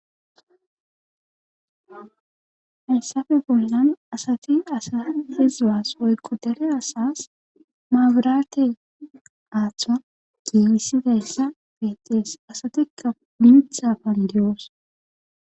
Hayssafe bollan asati asa eqqi suwas asa woykko dere asaas mabiraate aatho gelssidayssa beettees asatikka mitha bolli de7oos